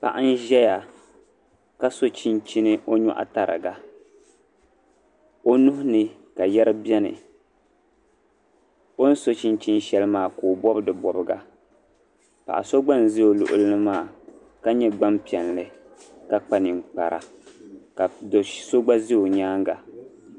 Paɣa n ʒɛya ka so chinchini ɔ nyɔɣu tariga ɔ nuhi ni ka yeri beni. ɔni so chinchini shɛli maa ka ɔbɔb di bɔbga paɣisogba n ʒɛ ɔluɣilini maa, ka nyɛ gban piɛli ka kpa nin kpara ka do' so gba ʒɛ ɔ nyaaŋa .